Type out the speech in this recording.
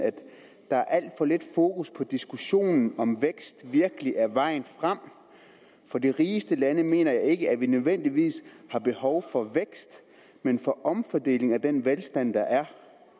der er alt for lidt fokus på diskussionen om vækst virkelig er vejen frem for de rigeste lande mener jeg ikke at vi nødvendigvis har behov for vækst men for omfordeling af den velstand der er